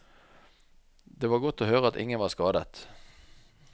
Det var godt å høre at ingen var skadet.